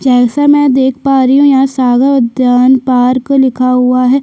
जैसा मैं देख पा रही हूँ यहाँ सागर उद्यान पार्क लिखा हुआ है।